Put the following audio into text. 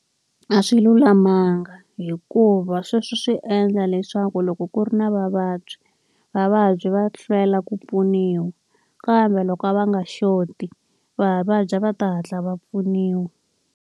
A swi lulamanga hikuva sweswo swi endla leswaku loko ku ri na vavabyi, vavabyi va hlwela ku pfuniwa. Kambe loko a va nga xoti vavadyi a va ta hatla va pfuniwa.